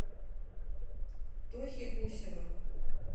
тохи гусева